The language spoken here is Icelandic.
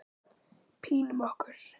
Pínum okkur.